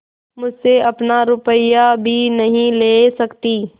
मुझसे अपना रुपया भी नहीं ले सकती